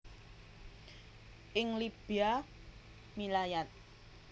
Ing Libya milayat